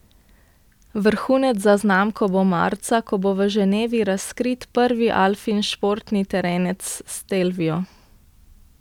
Vrhunec za znamko bo marca, ko bo v Ženevi razkrit prvi Alfin športni terenec stelvio.